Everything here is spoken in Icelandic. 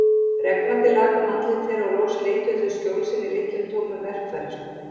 Regnvatnið lak um andlit þeirra og loks leituðu þau skjóls inni í litlum tómum verkfæraskúr.